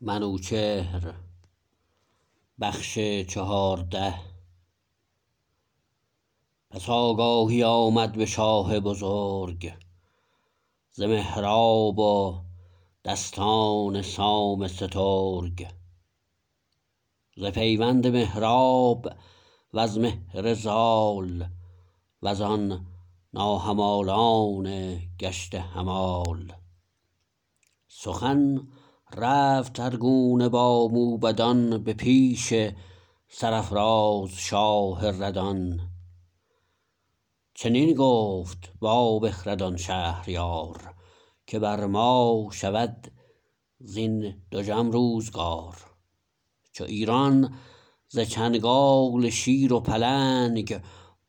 پس آگاهی آمد به شاه بزرگ ز مهراب و دستان سام سترگ ز پیوند مهراب وز مهر زال وزان ناهمالان گشته همال سخن رفت هر گونه با موبدان به پیش سرافراز شاه ردان چنین گفت با بخردان شهریار که بر ما شود زین دژم روزگار چو ایران ز چنگال شیر و پلنگ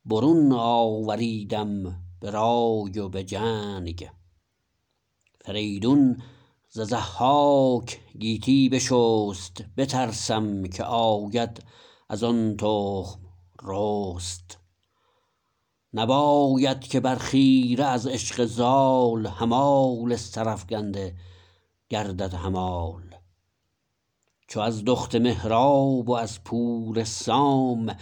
برون آوریدم به رای و به جنگ فریدون ز ضحاک گیتی بشست بترسم که آید ازان تخم رست نباید که بر خیره از عشق زال همال سرافگنده گردد همال چو از دخت مهراب و از پور سام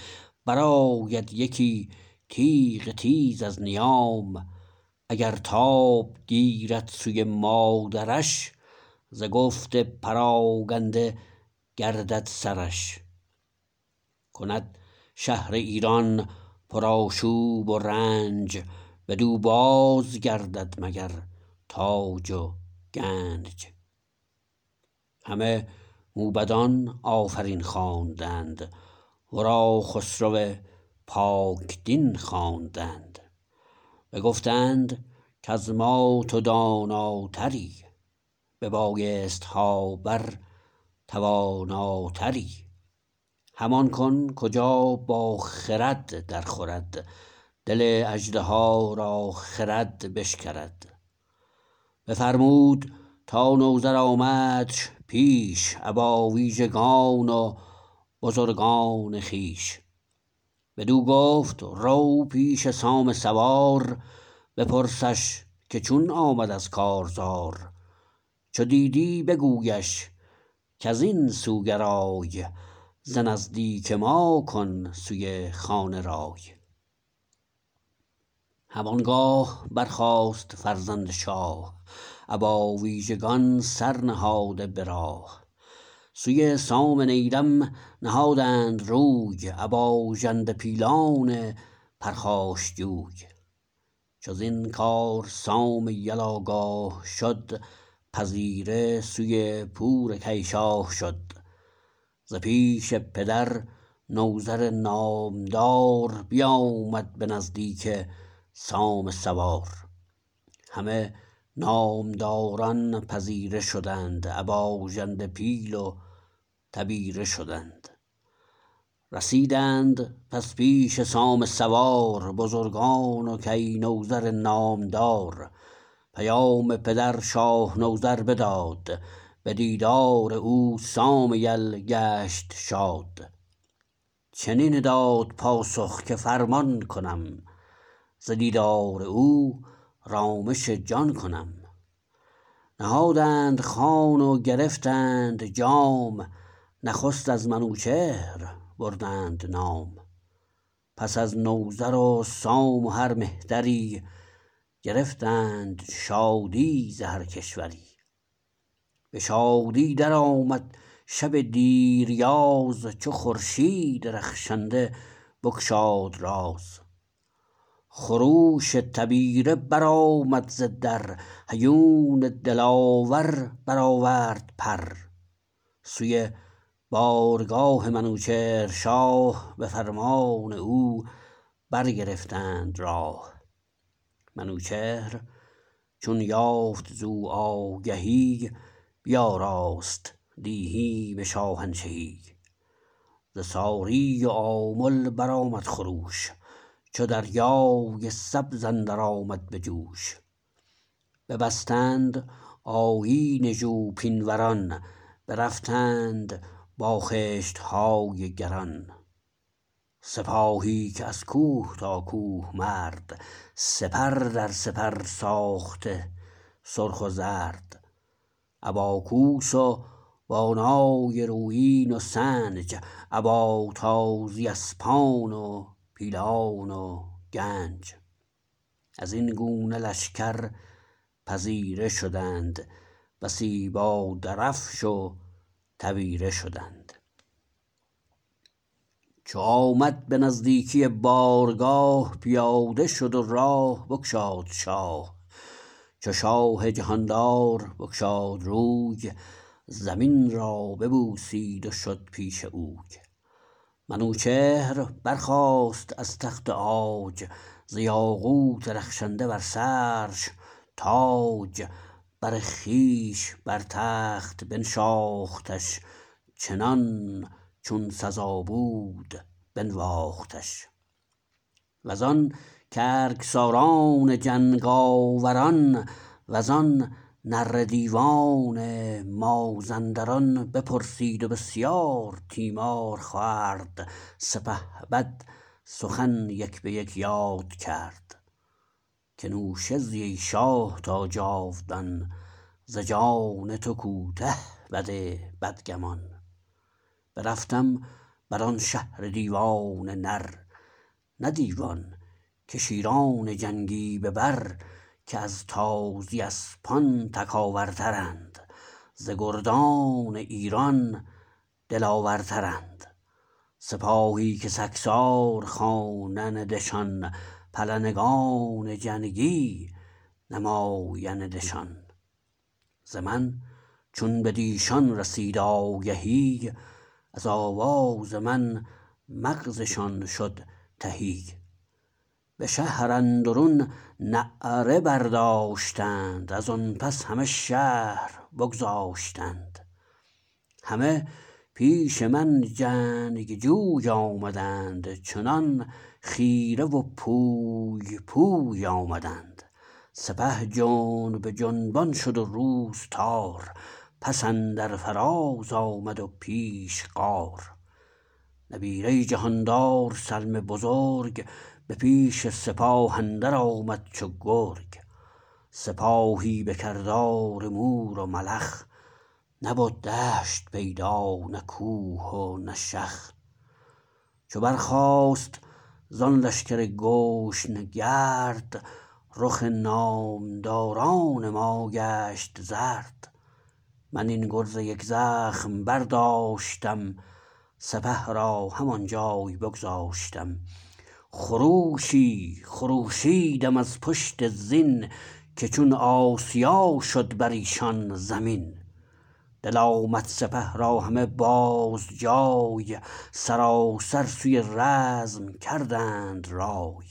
برآید یکی تیغ تیز از نیام اگر تاب گیرد سوی مادرش ز گفت پراگنده گردد سرش کند شهر ایران پر آشوب و رنج بدو بازگردد مگر تاج و گنج همه موبدان آفرین خواندند ورا خسرو پاک دین خواندند بگفتند کز ما تو داناتری به بایستها بر تواناتری همان کن کجا با خرد درخورد دل اژدها را خرد بشکرد بفرمود تا نوذر آمدش پیش ابا ویژگان و بزرگان خویش بدو گفت رو پیش سام سوار بپرسش که چون آمد از کارزار چو دیدی بگویش کزین سو گرای ز نزدیک ما کن سوی خانه رای هم آنگاه برخاست فرزند شاه ابا ویژگان سرنهاده به راه سوی سام نیرم نهادند روی ابا ژنده پیلان پرخاش جوی چو زین کار سام یل آگاه شد پذیره سوی پور کی شاه شد ز پیش پدر نوذر نامدار بیامد به نزدیک سام سوار همه نامداران پذیره شدند ابا ژنده پیل و تبیره شدند رسیدند پس پیش سام سوار بزرگان و کی نوذر نامدار پیام پدر شاه نوذر بداد به دیدار او سام یل گشت شاد چنین داد پاسخ که فرمان کنم ز دیدار او رامش جان کنم نهادند خوان و گرفتند جام نخست از منوچهر بردند نام پس از نوذر و سام و هر مهتری گرفتند شادی ز هر کشوری به شادی درآمد شب دیریاز چو خورشید رخشنده بگشاد راز خروش تبیره برآمد ز در هیون دلاور برآورد پر سوی بارگاه منوچهر شاه به فرمان او برگرفتند راه منوچهر چون یافت زو آگهی بیاراست دیهیم شاهنشهی ز ساری و آمل برآمد خروش چو دریای سبز اندر آمد به جوش ببستند آیین ژوپین وران برفتند با خشتهای گران سپاهی که از کوه تا کوه مرد سپر در سپر ساخته سرخ و زرد ابا کوس و با نای رویین و سنج ابا تازی اسپان و پیلان و گنج ازین گونه لشکر پذیره شدند بسی با درفش و تبیره شدند چو آمد به نزدیکی بارگاه پیاده شد و راه بگشاد شاه چو شاه جهاندار بگشاد روی زمین را ببوسید و شد پیش اوی منوچهر برخاست از تخت عاج ز یاقوت رخشنده بر سرش تاج بر خویش بر تخت بنشاختش چنان چون سزا بود بنواختش وزان گرگ ساران جنگاور ان وزان نره دیوان مازندران بپرسید و بسیار تیمار خورد سپهبد سخن یک به یک یاد کرد که نوشه زی ای شاه تا جاودان ز جان تو کوته بد بدگمان برفتم بران شهر دیوان نر نه دیوان که شیران جنگی به بر که از تازی اسپان تکاور ترند ز گردان ایران دلاور ترند سپاهی که سگسار خوانندشان پلنگان جنگی نمایندشان ز من چون بدیشان رسید آگهی از آواز من مغزشان شد تهی به شهر اندرون نعره برداشتند ازان پس همه شهر بگذاشتند همه پیش من جنگ جوی آمدند چنان خیره و پوی پوی آمدند سپه جنب جنبان شد و روز تار پس اندر فراز آمد و پیش غار نبیره جهاندار سلم بزرگ به پیش سپاه اندر آمد چو گرگ سپاهی به کردار مور و ملخ نبد دشت پیدا نه کوه و نه شخ چو برخاست زان لشکر گشن گرد رخ نامداران ما گشت زرد من این گرز یک زخم برداشتم سپه را هم آنجای بگذاشتم خروشی خروشیدم از پشت زین که چون آسیا شد بریشان زمین دل آمد سپه را همه بازجای سراسر سوی رزم کردند رای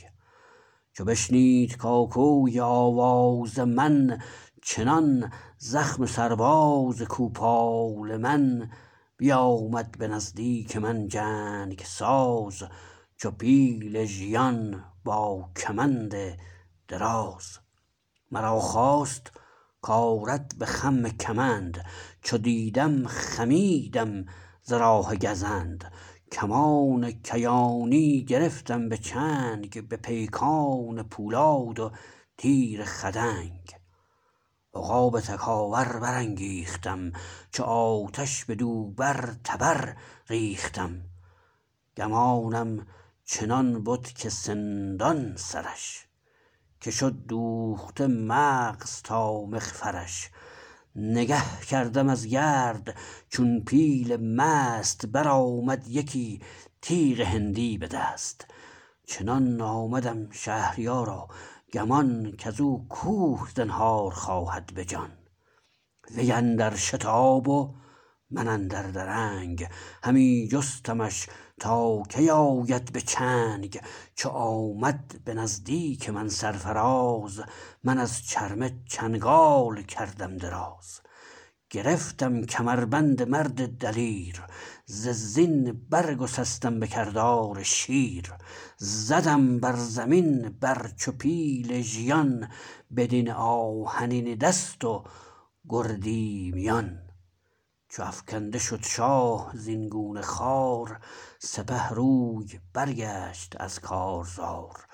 چو بشنید کاکوی آواز من چنان زخم سرباز کوپال من بیامد به نزدیک من جنگ ساز چو پیل ژیان با کمند دراز مرا خواست کارد به خم کمند چو دیدم خمیدم ز راه گزند کمان کیانی گرفتم به چنگ به پیکان پولاد و تیر خدنگ عقاب تکاور برانگیختم چو آتش بدو بر تبر ریختم گمانم چنان بد که سندان سرش که شد دوخته مغز تا مغفرش نگه کردم از گرد چون پیل مست برآمد یکی تیغ هندی به دست چنان آمدم شهریارا گمان کزو کوه زنهار خواهد بجان وی اندر شتاب و من اندر درنگ همی جستمش تا کی آید به چنگ چو آمد به نزدیک من سرفراز من از چرمه چنگال کردم دراز گرفتم کمربند مرد دلیر ز زین برگسستم بکردار شیر زدم بر زمین بر چو پیل ژیان بدین آهنین دست و گردی میان چو افگنده شد شاه زین گونه خوار سپه روی برگشت از کارزار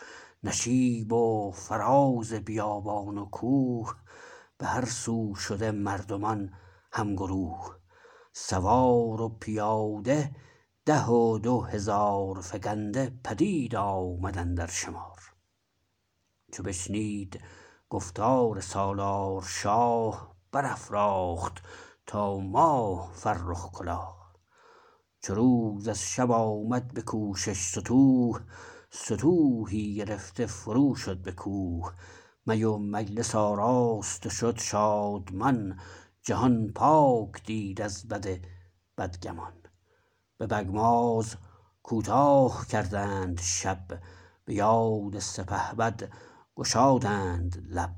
نشیب و فراز بیابان و کوه به هر سو شده مردمان هم گروه سوار و پیاده ده و دو هزار فگنده پدید آمد اندر شمار چو بشنید گفتار سالار شاه برافراخت تا ماه فرخ کلاه چو روز از شب آمد بکوشش ستوه ستوهی گرفته فرو شد به کوه می و مجلس آراست و شد شادمان جهان پاک دید از بد بدگمان به بگماز کوتاه کردند شب به یاد سپهبد گشادند لب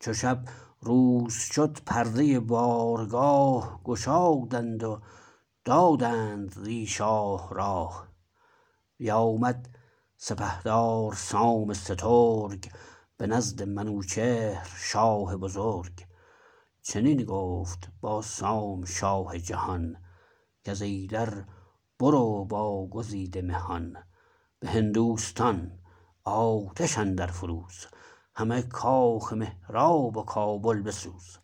چو شب روز شد پرده بارگاه گشادند و دادند زی شاه راه بیامد سپهدار سام سترگ به نزد منوچهر شاه بزرگ چنین گفت با سام شاه جهان کز ایدر برو با گزیده مهان به هندوستان آتش اندر فروز همه کاخ مهراب و کابل بسوز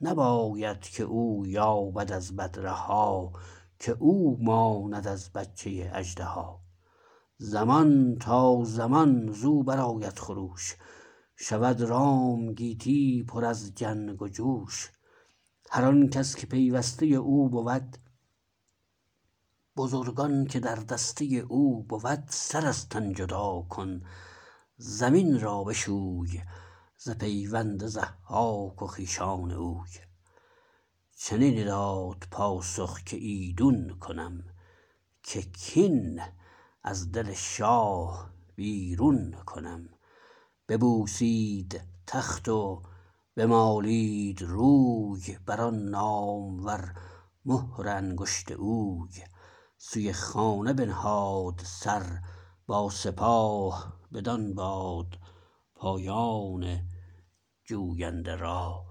نباید که او یابد از بد رها که او ماند از بچه اژدها زمان تا زمان زو برآید خروش شود رام گیتی پر از جنگ و جوش هر آنکس که پیوسته او بود بزرگان که در دسته او بود سر از تن جدا کن زمین را بشوی ز پیوند ضحاک و خویشان اوی چنین داد پاسخ که ایدون کنم که کین از دل شاه بیرون کنم ببوسید تخت و بمالید روی بران نامور مهر انگشت اوی سوی خانه بنهاد سر با سپاه بدان باد پایان جوینده راه